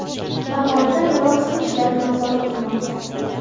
Farg‘onada mirob suv ishlari nazorat qilmoqda.